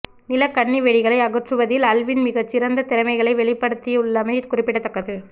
நிலக்கண்ணி வெடிகளை அகற்றுவதில் அல்வின் மிகச் சிறந்த திறமைகளை வெளிப்படுத்தியுள்ளமை குறிப்பிடத்தக்கது